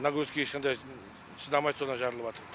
нагрузкеге ешқандай шыдамайды содан жарылыватыр